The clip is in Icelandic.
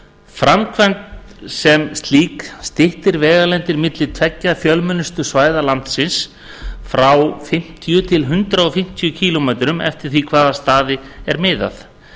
framkvæmdin sem slík styttir vegalengdir milli tveggja fjölmennustu svæða landsins frá fimmtíu til hundrað fimmtíu kílómetra eftir því við hvaða staði er miðað